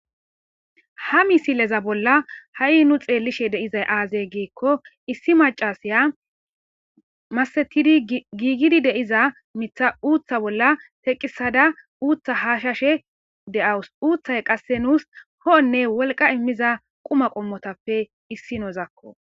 ha misileza bolla ha7i nu xeellishe deizay aazey giikko issi macasiya masetidi giigidi deiza mitha uutha bolla teqisada uutha haashashe de7awus uuththay qasse nuus hoonne wolqa immiza quma qommotappe issi nouzakko